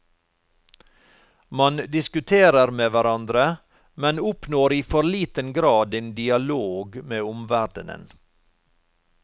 Man diskuterer med hverandre, men oppnår i for liten grad en dialog med omverdenen.